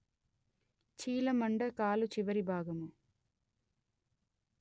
చీలమండ కాలు చివరి భాగము